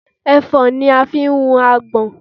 Ẹ̀fọ́n ni a fi ń hun agbọ̀n.